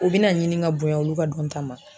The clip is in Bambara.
O bi na ɲini ka bonya olu ka dɔn ta ma